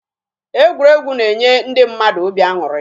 Egwuregwu na-enye ndị mmadụ obi aṅụrị